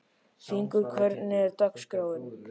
Hringur, hvernig er dagskráin?